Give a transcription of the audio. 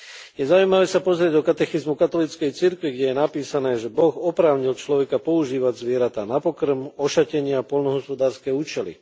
Je zaujímavé sa pozrieť do katechizmu katolíckej cirkvi, kde je napísané, že Boh oprávnil človeka používať zvieratá na pokrm, ošatenie a poľnohospodárske účely.